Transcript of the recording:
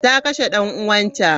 Ta kashe dan uwanta.